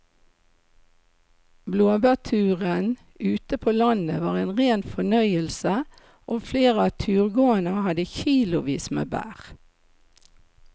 Blåbærturen ute på landet var en rein fornøyelse og flere av turgåerene hadde kilosvis med bær.